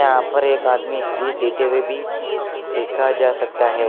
यहां पर एक आदमी स्पीच देते हुए भी देखा जा सकता है।